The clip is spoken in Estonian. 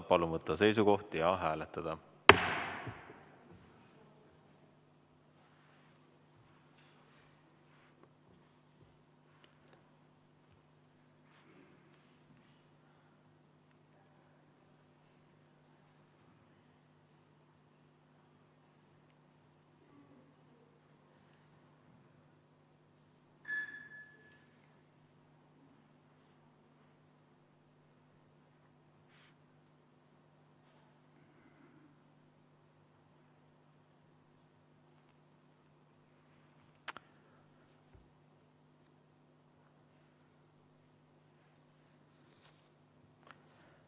Palun võtta seisukoht ja hääletada!